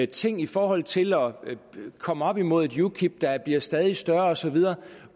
ting i forhold til at komme op imod et ukip der bliver stadig større og så videre